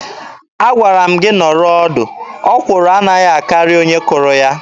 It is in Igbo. Agwara m gị nọrọ ọdụ. Ọkwụrụ anaghị akarị onye kụrụ ya.